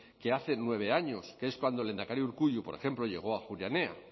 que hace nueve años que es cuando el lehendakari urkullu por ejemplo llegó a ajuria enea